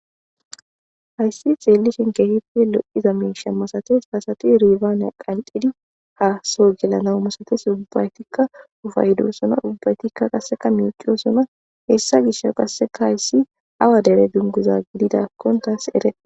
Hayssi xeellishin kehife lo7iza miisha masates hasati ribaanea qancidi haasoo gelanaw masates ubbaytikka ufayidosona ubbaytikka qasseka miciyosona hessa gisha qasseka hayssi awa dere dunguza gididakkon taas ere.